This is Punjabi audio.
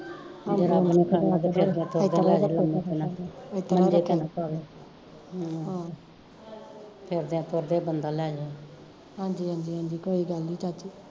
ਫਿਰਦੇ ਟੁਰਦਿਆ ਈ ਬੰਦਾ ਲੈ ਜੇ